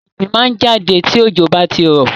Ìgbín máa ń jáde tí òjò bá ti rọ̀.